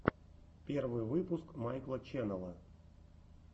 первый выпуск майкла ченнела